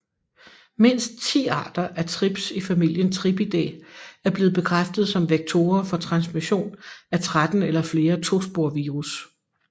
Mindst 10 arter af trips i familien Thripidae er blevet bekræftet som vektorer for transmission af 13 eller flere tospovirus